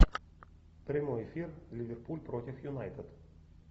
прямой эфир ливерпуль против юнайтед